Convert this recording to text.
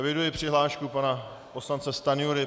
Eviduji přihlášku pana poslance Stanjury.